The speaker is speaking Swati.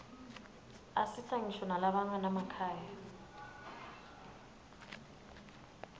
asita ngisho nalabanganamakhaya